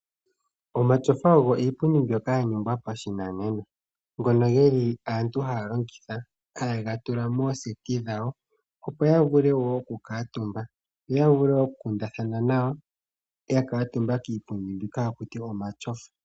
Omatyofa ogo iipundi mbyono yaningwa pashimanena, ngono geli aantu haya longitha. Ha yega tula mooseti dhawo, opo ya vule oku kuutumba nenge oku kundathana nawa yakuutumba kiipundi mbino ha kutiwa omatyofa.